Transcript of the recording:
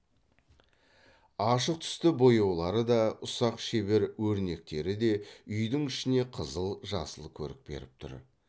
ашық түсті бояулары да ұсақ шебер өрнектері де үйдің ішіне қызыл жасыл көрік беріп тұр